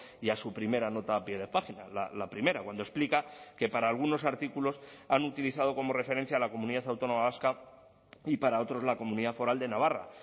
y a su primera nota a pie de página la primera cuando explica que para algunos artículos han utilizado como referencia a la comunidad autónoma vasca y para otros la comunidad foral de navarra